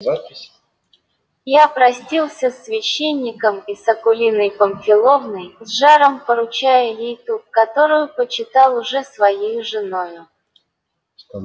я простился с священником и с акулиной памфиловной с жаром поручая ей ту которую почитал уже своею женою